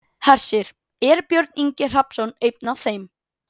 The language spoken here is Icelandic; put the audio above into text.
Hersir: Er Björn Ingi Hrafnsson einn af þeim?